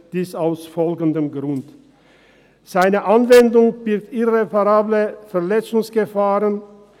Dies aus folgendem Grund: Seine Anwendung birgt irreparable Verletzungsgefahren.